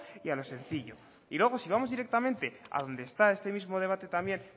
y a lo sencillo y luego si vamos directamente a donde está este mismo debate también